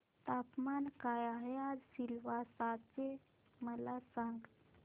तापमान काय आहे आज सिलवासा चे मला सांगा